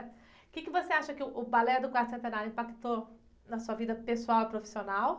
O quê que você acha que uh, o balé do quarto centenário impactou na sua vida pessoal e profissional?